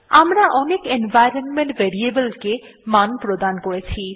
আমরা অনেক environment variable কে অনেক মান প্রদান করেছি